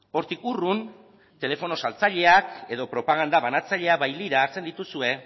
hortik urrun telefonoz saltzaileak edo propaganda banatzaileak bailiran hartzen dituzue